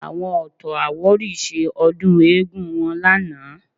Àwọn Ọ̀tọ̀-Àwórì ṣe ọdún eégún wọn lánàá